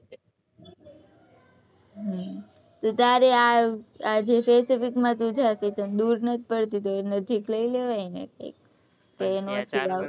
હ તો તારે આ દુર નથી પડતી તો નજીક લઇ લેવાય ને કઈ